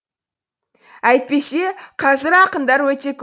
әйтпесе қазір ақындар өте